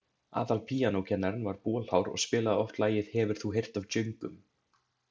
Aðalpíanókennarinn var bolhár og spilaði oft lagið „Hefur þú heyrt af djöngum?“.